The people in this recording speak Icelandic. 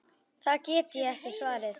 Það get ég svarið.